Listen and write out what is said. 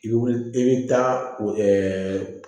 I bɛ wuli i bɛ taa